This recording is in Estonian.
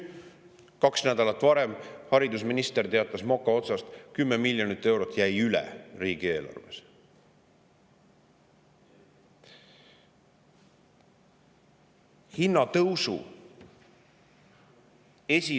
Kaks nädalat tagasi teatas haridusminister mokaotsast, et 10 miljonit eurot jäi riigieelarves üle.